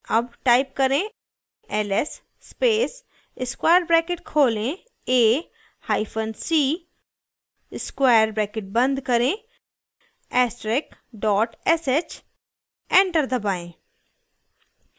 अब type करें ls space square bracket खोलें a hyphen c square bracket बंद करें ऐस्टरिक dot sh enter दबाएं